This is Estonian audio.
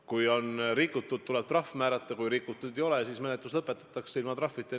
Kui on rikutud, tuleb trahv määrata, kui rikutud ei ole, siis menetlus lõpetatakse ilma trahvita.